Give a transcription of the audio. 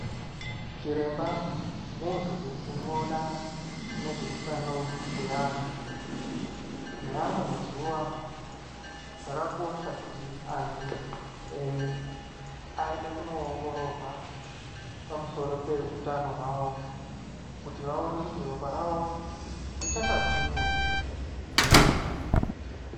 Chiremba muntu unoona nezveutano hweanhu, neamwe mazuwa akakosha kuti antu eee aende kunoongororwa pamusoro peutano hwavo, kuti vaone kuti ropa ravo richakagwinya ere.